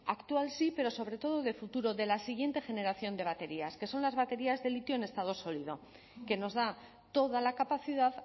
actual sí pero sobre todo de futuro de la siguiente generación de baterías que son las baterías de litio en estado sólido que nos da toda la capacidad